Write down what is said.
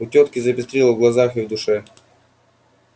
у тётки запестрило в глазах и в душе